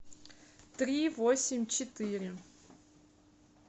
три восемь четыре